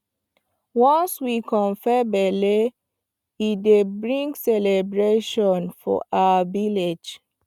once we confirm belle e dey bring celebration for our village